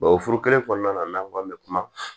Bawo furu kelen kɔnɔna na n'an ko an bɛ kuma